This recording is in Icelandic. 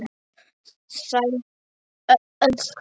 Sæl, elskan.